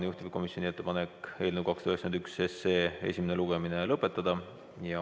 Juhtivkomisjoni ettepanek on eelnõu 291 esimene lugemine lõpetada.